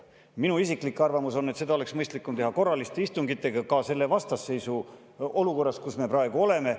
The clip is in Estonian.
Minu isiklik arvamus on, et seda oleks mõistlikum teha korralistel istungitel ka selle vastasseisu olukorras, kus me praegu oleme.